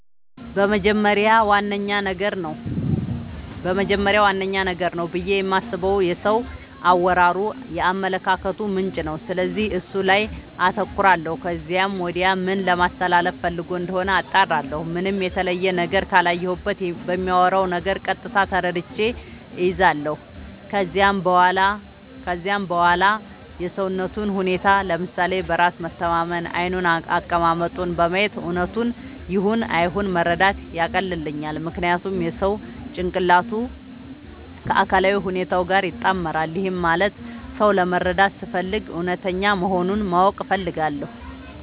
በመጀመሪያ ዋነኛ ነገር ነው ብዬ የማስበው የሰው አወራሩ የአመለካከቱ ምንጭ ነው፤ ስለዚህ እሱ ላይ አተኩራለው ከዚያም ወዲያ ምን ለማለስተላለፋ ፈልጎ እንደሆነ አጣራለሁ። ምንም የተለየ ነገር ካላየሁበት በሚያወራው ነገር ቀጥታ ተረድቼ እይዛለው። ከዚያም በዋላ የሰውነቱን ሁኔታ፤ ለምሳሌ በራስ መተማመኑን፤ ዓይኑን፤ አቀማመጡን በማየት እውነቱን ይሁን አይሁን መረዳት ያቀልልኛል። ምክንያቱም የሰው ጭንቅላቱ ከአካላዊ ሁኔታው ጋር ይጣመራል። ይህም ማለት ሰው ለመረዳት ስፈልግ እውነተኛ መሆኑን ማወቅ እፈልጋለው።